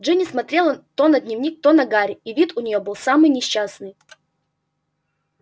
джинни смотрела то на дневник то на гарри и вид у неё был самый несчастный